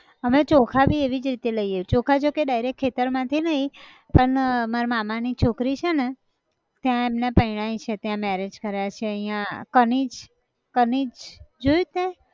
અમે ચોખા બી એવી જ રીતે લઈએ, ચોખા જોકે direct ખેતર માંથી નઈ પન અર મારા મામાની છોકરી છ ન ત્યાં એમને પૈણાયી છે ત્યાં marriage કર્યા છે અહીંયા, કનીજ, કનીજ. જોયું છ તેં?